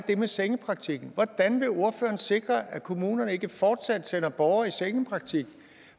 det med sengepraktikken sikre at kommunerne ikke fortsat sender borgere i sengepraktik